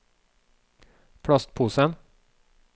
plastposen